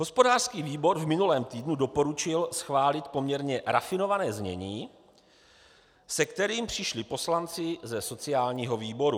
Hospodářský výbor v minulém týdnu doporučil schválit poměrně rafinované znění, se kterým přišli poslanci ze sociálního výboru.